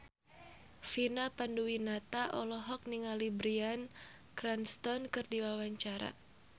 Vina Panduwinata olohok ningali Bryan Cranston keur diwawancara